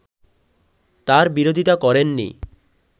তার বিরোধিতা করেননি